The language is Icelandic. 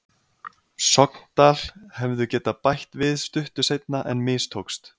Sogndal hefðu getað bætt við stuttu seinna en mistókst.